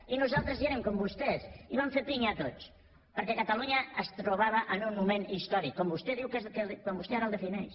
i nosaltres hi érem com vostès i vam fer pinya tots perquè catalunya es trobava en un moment històric com vostè ara el defineix